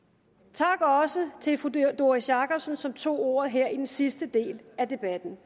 tak også til fru doris jakobsen som tog ordet her i den sidste del af debatten